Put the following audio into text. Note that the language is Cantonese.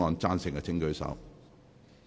贊成的請舉手。